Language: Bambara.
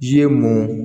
Ji ye mɔn